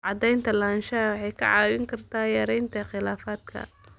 Cadaynta lahaanshaha waxay kaa caawin kartaa yaraynta khilaafaadka.